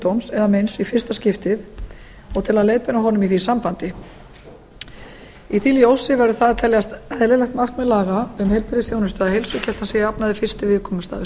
eða meins í fyrsta skipti og til að leiðbeina honum í því sambandi í því ljósi verður það að teljast eðlilegt markmið laga um heilbrigðisþjónustu að heilsugæslan sé að jafnaði fyrsti viðkomustaður